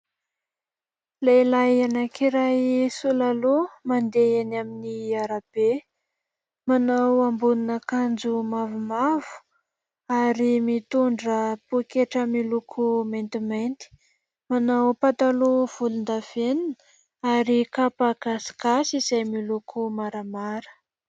Lehilahy anakiray sola loha mandeha eny amin'ny arabe, manao ambonin'akanjo mavomavo ary mitondra pôketra miloko maintimainty, manao pataloha volon-davenina ary kapa gasigasy izay miloko maramara.